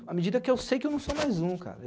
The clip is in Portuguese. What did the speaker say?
À medida que eu sei que eu não sou mais um, cara.